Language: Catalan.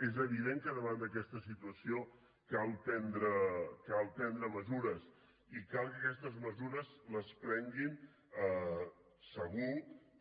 és evident que davant d’aquesta situació cal prendre mesures i cal que aquestes mesures les prenguin segur